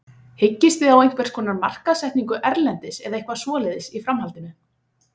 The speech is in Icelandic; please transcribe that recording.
Hyggist þið á einhverskonar markaðssetningu erlendis eða eitthvað svoleiðis í framhaldinu?